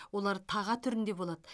олар таға түрінде болады